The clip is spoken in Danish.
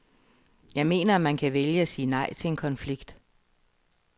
Jeg mener, at man kan vælge at sige nej til en konflikt.